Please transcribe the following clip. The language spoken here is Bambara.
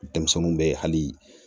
Denmisɛnninw bɛ hali